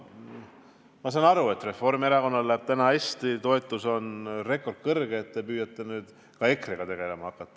Ma saan aru, et Reformierakonnal läheb täna hästi, toetus on rekordkõrge ja te püüate nüüd ka EKRE-ga tegelema hakata.